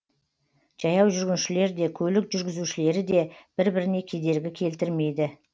жаяу жүргіншілер де көлік жүргізушілері де бір біріне кедергі келтірмейді